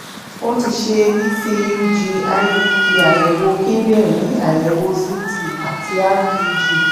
ó ti ṣe vcug ivp àyẹ̀wò kíndìnrín àyẹ̀wò ct àti rpg